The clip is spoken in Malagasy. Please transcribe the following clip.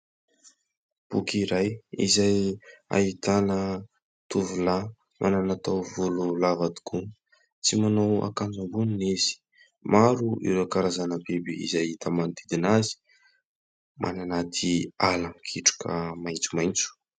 Boky iray izay ahitana tovolahy manana taovolo lava tokoa. Tsy manao akanjo amboniny izy. Maro ireo karazana biby izay hita manodidina azy, any anaty ala mikitroka maitsomaitso.